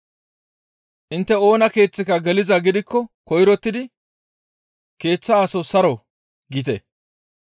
«Intte oona keeththika gelizaa gidikko koyrottidi, ‹Keeththa aso saro!› giite.